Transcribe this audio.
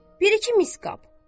Bir-iki mis qab.